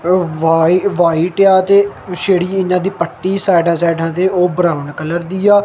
Bike white ਆ ਤੇ ਜਿਹੜੀ ਇਹਨਾਂ ਦੀ ਪੱਟੀ ਸਾਈਡਾਂ ਸਾਈਡਾਂ ਤੇ ਉਹ ਬਰਾਊਨ ਕਲਰ ਦੀ ਆ।